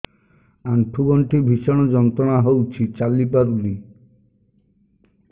ଆଣ୍ଠୁ ଗଣ୍ଠି ଭିଷଣ ଯନ୍ତ୍ରଣା ହଉଛି ଚାଲି ପାରୁନି